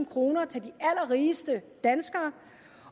kroner til de allerrigeste danskere